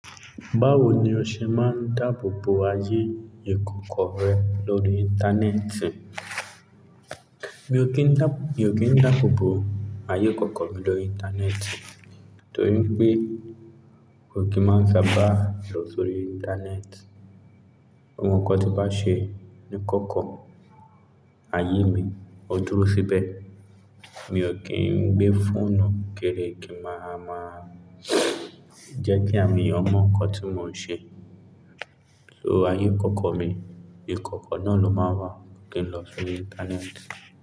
Báwo ni o ṣe máa ń dáàbò bo ayé ìkọ̀kọ̀ rẹ lórí Íńtánẹ́ẹ̀tì? Mi ò kín dá, mi ò kín dáàbò bo ayé ìkọ̀kọ̀ mi lórí Íńtánẹ́ẹ̀tì torí pé kò kí n máa sábà lọ sórí Íńtánẹ́ẹ̀tì. Awon nkán tí bá ṣe ní ìkọ̀kọ̀ ayé mi, ó dúró síbẹ̀. Mi ò kín ń gbé fóònù kiri kí màá máa jẹ́ kí àwọn èèyàn mọ nkán tí mò ń ṣe, so ayé ìkọ̀kọ̀ mi, ìkọ̀kọ̀ náà ló máa wà kí n lọ sórí Íńtánẹ́ẹ̀tì.